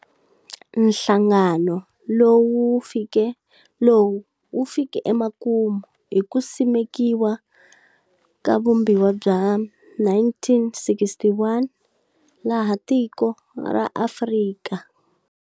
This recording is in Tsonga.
Nhlangano lowu wu fike emakumu hi ku simekiwa ka vumbiwa bya 1961, laha tiko ra Afrika.